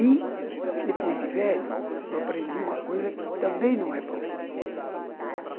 E, depois de velho, eu aprendi uma coisa que também não é bom.